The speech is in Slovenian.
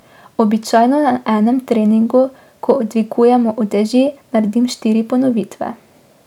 Običajno na enem treningu, ko dvigujemo uteži, naredim štiri ponovitve.